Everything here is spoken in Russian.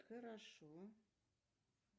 хорошо